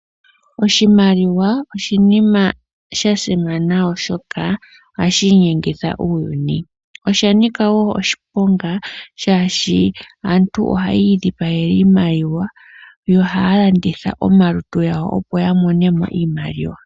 Oshimaliwa oshinima sha simana, oshoka ohashi inyengitha uuyuni. Osha nika wo oshiponga shaashi aantu ohaya idhipagele iimaliwa, yo ohaya landitha omalutu gawo opo ya mone mo iimaliwa.